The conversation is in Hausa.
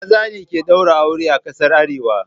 Maza ne suke ɗaura aure a ƙasar Hausa